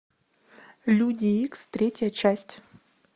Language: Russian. люди икс третья часть